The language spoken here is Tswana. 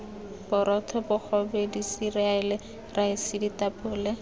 borotho bogobe diseriale raese ditapole